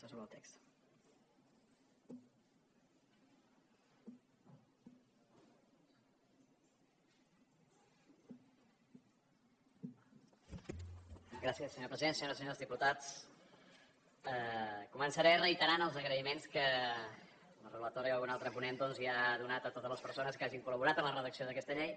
senyores i senyors diputats començaré reiterant els agraïments que la relatora i algun altre ponent doncs ja han donat a totes les persones que hagin col·laborat en la redacció d’aquesta llei